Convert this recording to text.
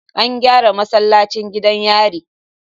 An gyara masallacin gidan yari